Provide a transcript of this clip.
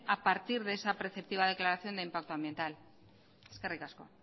a partir de esa perceptiva declaración del impacto ambiental eskerrik asko